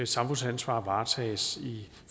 samfundsansvaret varetages i